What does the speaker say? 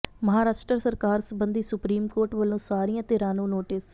ਮਹਾਰਾਸ਼ਟਰ ਸਰਕਾਰ ਸਬੰਧੀ supreme court ਵੱਲੋਂ ਸਾਰੀਆਂ ਧਿਰਾਂ ਨੂੰ ਨੋਟਿਸ